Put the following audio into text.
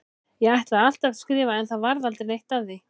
Ég ætlaði alltaf að skrifa en það varð aldrei neitt af því.